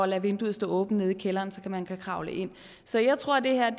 lade vinduet stå åbent nede i kælderen så man kan kravle ind så jeg tror at det her